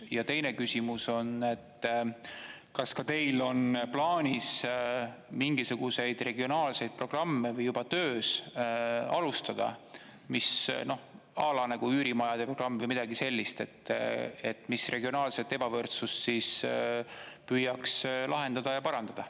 Ja teine küsimus on, et kas ka teil on plaanis mingisuguseid regionaalseid programme, või juba töös, alustada, mis noh, à la üürimajade programm või midagi sellist, mis regionaalset ebavõrdsust siis püüaks lahendada ja parandada.